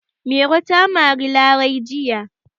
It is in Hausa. Mairo ta mari Larai jiya.